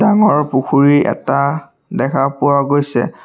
ডাঙৰ পুখুৰী এটা দেখা পোৱা গৈছে।